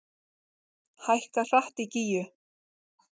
Hækkar hratt í Gígju